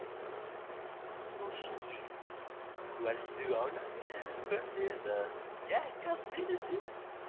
Magnús Hlynur: Varst þú ánægður með hvernig þetta gekk allt vel fyrir sig?